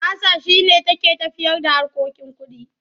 Basa shi ne take tafiyarda harkokin kuɗi.